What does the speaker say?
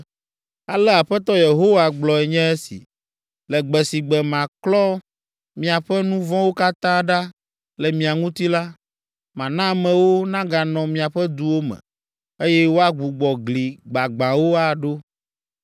Ale Aƒetɔ Yehowa gblɔe nye esi: “Le gbe si gbe maklɔ miaƒe nu vɔ̃wo katã ɖa le mia ŋuti la, mana amewo naganɔ miaƒe duwo me, eye woagbugbɔ gli gbagbãwo aɖo.